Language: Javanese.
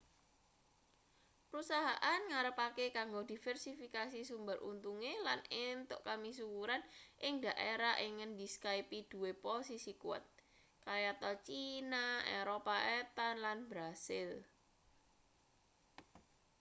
perusahaan ngarepake kanggo diversifikasi sumber untunge lan entuk kamisuwuran ing daerah ing ngendi skype duwe posisi kuwat kayata cina eropa etan lan brasil